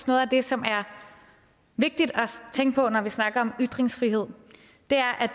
noget af det som er vigtigt at tænke på når vi snakker om ytringsfrihed